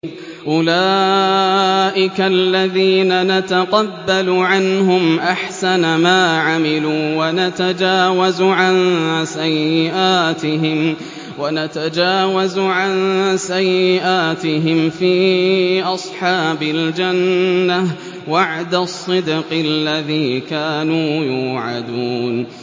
أُولَٰئِكَ الَّذِينَ نَتَقَبَّلُ عَنْهُمْ أَحْسَنَ مَا عَمِلُوا وَنَتَجَاوَزُ عَن سَيِّئَاتِهِمْ فِي أَصْحَابِ الْجَنَّةِ ۖ وَعْدَ الصِّدْقِ الَّذِي كَانُوا يُوعَدُونَ